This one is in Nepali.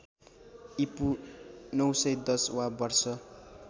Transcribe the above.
ईपू ९१० वा वर्ष